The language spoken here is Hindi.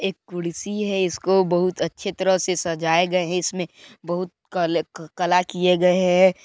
एक कुर्सी है इसको बहुत अच्छे तरह से सजाये गए है इसमें बहुत कल कला किये गए है।